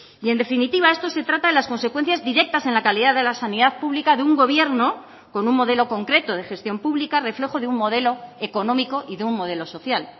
y en definitiva esto se trata de las consecuencias directas en la calidad de la sanidad pública de un gobierno con un modelo concreto de gestión pública reflejo de un modelo económico y de un modelo social